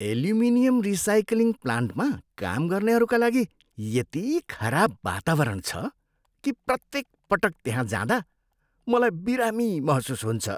Aluminium recycling प्लान्टमा काम गर्नेहरूका लागि यति खराब वातावरण छ कि प्रत्येक पटक त्यहाँ जाँदा मलाई बिरामी महसुस हुन्छ।